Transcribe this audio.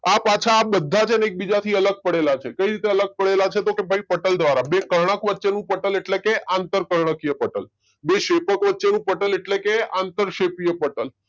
આ પાછા આ બધા છે ને એકબીજાથી અલગ પડેલા છે કઈ રીતે અલગ પડેલા છે તો કે ભાઈ પટલ દ્વારા. બે કર્ણક વચ્ચેનું પટલ એટલે કે આંતરકર્ણકીય પટલ બે શેપકો વચ્ચેનું પટલ એટલે કે આંતરશેપીય પટલ